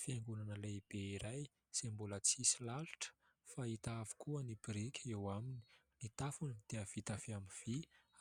Fiangonana lehibe iray izay mbola tsisy lalotra fa hita avokoa ny biriky eo aminy ; ny tafony dia vita amin'ny vy